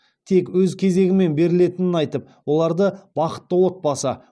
тек өз кезегімен берілетінін айтып оларды бақытты отбасы